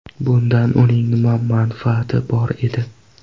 Bundan uning nima manfaati bor edi?